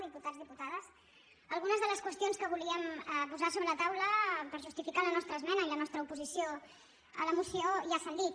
diputats diputades algunes de les qüestions que volíem posar sobre la taula per justificar la nostra esmena i la nostra oposició a la moció ja s’han dit